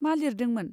मा लिरदोंमोन?